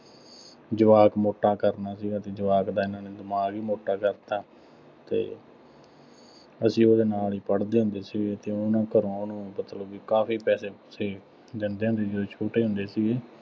ਜਵਾਕ ਮੋਟਾ ਕਰਨਾ ਸੀਗਾ ਅਤੇ ਜਵਾਕ ਦਾ ਇਹਨਾ ਨੇ ਦਿਮਾਗ ਹੀ ਮੋਟਾ ਕਰਤਾ ਅਤੇ ਅਸੀਂ ਉਹਦੇ ਨਾਲ ਹੀ ਪੜ੍ਹਦੇ ਹੁੰਦੇ ਸੀਗੇ ਅਤੇ ਉਹ ਨਾ ਘਰੋਂ ਉਹਨੂੰ ਮਤਲਬ ਬਈ ਕਾਫੀ ਪੈਸੇ ਪੁਸੇ ਦਿੰਦੇ ਹੁੰਦੇ ਸੀ, ਜਦੋਂ ਛੋਟੇ ਹੁੰਦੇ ਸੀ।